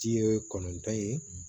Ji ye kɔnɔntɔn ye